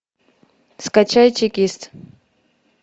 скачай чекист